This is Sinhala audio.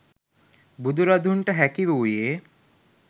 බුදුරදුන්ට හැකි වූයේ